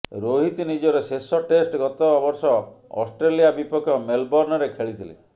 ରୋହିତ୍ ନିଜର ଶେଷ ଟେଷ୍ଟ ଗତବର୍ଷ ଅଷ୍ଟ୍ରେଲିଆ ବିପକ୍ଷ ମେଲବର୍ଣ୍ଣରେ ଖେଳିଥିଲେ